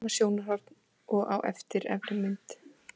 Sama sjónarhorn og á efri mynd.